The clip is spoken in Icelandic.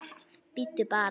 Bíddu bara!